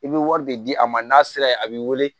I bɛ wari de di a ma n'a sera yen a b'i wele